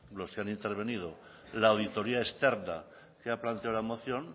los que han intervenido la auditoría externa que ha planteado la moción